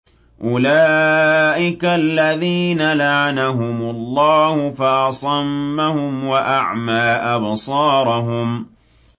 أُولَٰئِكَ الَّذِينَ لَعَنَهُمُ اللَّهُ فَأَصَمَّهُمْ وَأَعْمَىٰ أَبْصَارَهُمْ